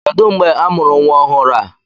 Kedụ mgbe amụrụ nwa ọhụrụ a!